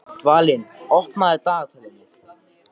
Dvalinn, opnaðu dagatalið mitt.